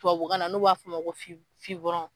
Tubabukan na n'o b'a fɔ a ma ko fi fibɔrɔn